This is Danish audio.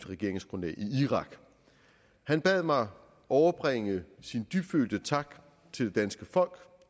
regeringsgrundlag i irak han bad mig overbringe sin dybfølte tak til det danske folk